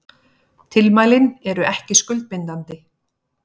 Tilmælin eru ekki skuldbindandi